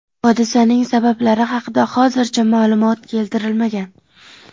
Hodisaning sabablari haqida hozircha ma’lumot keltirilmagan.